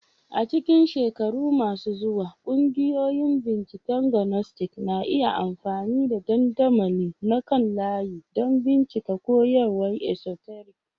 A cikin shekaru masu zuwa, ƙungiyoyin binciken Gnostic na iya amfani da dandamali na kan layi don bincika koyarwar esoteric.